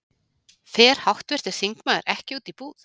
Fer háttvirtur þingmaður ekki út í búð?